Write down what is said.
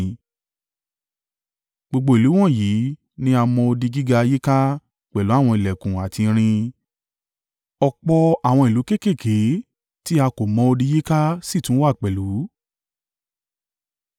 Gbogbo ìlú wọ̀nyí ní a mọ odi gíga yíká pẹ̀lú àwọn ìlẹ̀kùn àti irin. Ọ̀pọ̀ àwọn ìlú kéékèèké tí a kò mọ odi yíká sì tún wà pẹ̀lú.